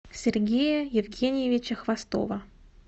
сергея евгеньевича хвостова